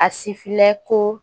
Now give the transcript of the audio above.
A sifilɛ ko